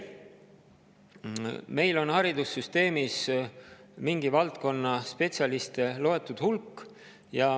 Meil on haridussüsteemis mingi valdkonna spetsialiste loetud hulk.